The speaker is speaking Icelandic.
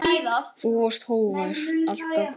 Þú varst hógvær, alltaf glaður.